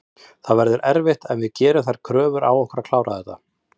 Það verður erfitt en við gerum þær kröfur á okkur að klára þetta.